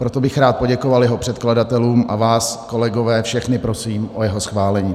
Proto bych rád poděkoval jeho předkladatelům a vás, kolegové, všechny prosím o jeho schválení.